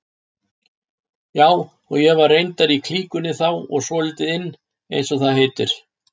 Já, og ég var reyndar í klíkunni þá og svolítið inn eins og það heitir.